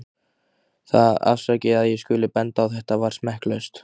Það- afsakið að ég skuli benda á þetta- var smekklaust.